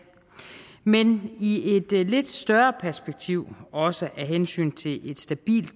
men i et lidt større perspektiv er også et hensyn til et stabilt